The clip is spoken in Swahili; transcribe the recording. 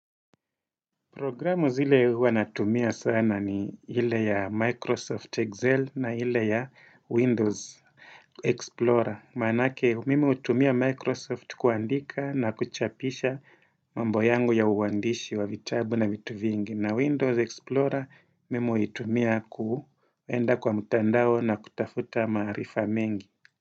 Programu zile huwa natumia sana ni ile ya Microsoft Excel na ile ya Windows Explorer. Maanake, mimi hutumia Microsoft kuandika na kuchapisha mambo yangu ya uandishi wa vitabu na vitu vingine. Na Windows Explorer, mimi huitumia kuenda kwa mutandao na kutafuta maarifa mengi.